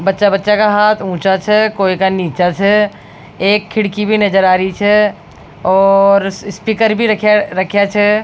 बच्चा बच्चा का हाथ ऊचा छै कोई का नीचा छै एक खिड़की भी नज़र आ रही छै और स्पीकर भी रखया छै।